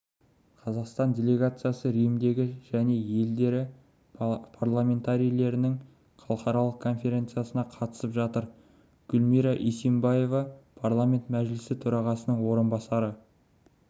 қазақстан делегациясы римдегі және елдері парламентарийлерінің халықаралық конференциясына қатысып жатыр гүлмира исимбаева парламент мәжілісі төрағасының орынбасары